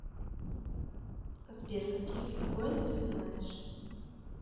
сбер какие биткойн ты знаешь